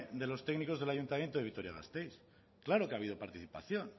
de los técnicos del ayuntamiento de vitoria gasteiz claro que ha habido participación